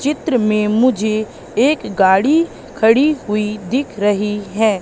चित्र में मुझे एक गाड़ी खड़ी हुई दिख रही हैं।